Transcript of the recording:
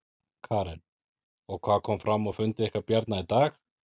Karen: Og hvað kom fram á fundi ykkar Bjarna í dag?